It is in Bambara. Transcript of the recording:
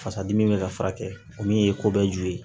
Fasadimi bɛ ka furakɛ o min ye ko bɛɛ ju ye